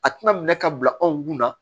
A tɛna minɛ ka bila anw kun na